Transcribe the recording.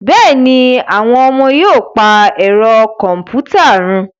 Bẹ́ẹ̀ ni, àwọn ọmọ yóò pa ẹ̀rọ kọ̀m̀pútà run